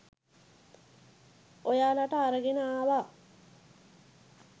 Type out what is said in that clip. ඔයාලට අරගෙන ආවා.